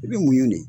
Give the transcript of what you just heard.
I bɛ munɲu de